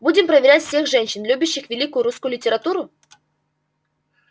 будем проверять всех женщин любящих великую русскую литературу